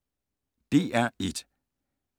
DR1